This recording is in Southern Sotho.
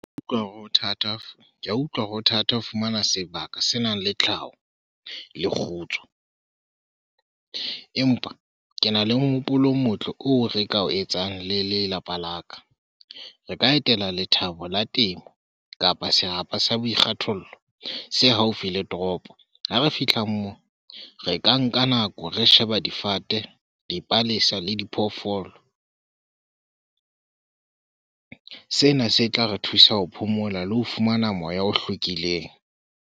Kea utlwa hore ho thata ho fumana sebaka se nang le tlhaho le kgotso. Empa ke na le mohopolo o motle oo re ka o etsang le lelapa la ka. Re ka etela lethabo la temo, kapa serapa sa boikgathollo se haufi le toropo. Ha re fihla moo re ka nka nako re sheba difate, dipalesa le diphoofolo Sena se tla re thusa ho phomola le ho fumana moya o hlwekileng.